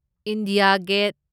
India get